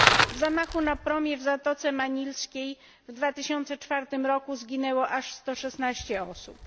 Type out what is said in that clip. W zamachu na promie w Zatoce Manilskiej w 2004 roku zginęło aż 116 osób.